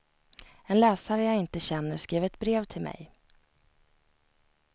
En läsare jag inte känner skrev ett brev till mig.